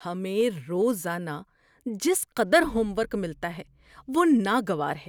ہمیں روزانہ جس قدر ہوم ورک ملتا ہے وہ ناگوار ہے۔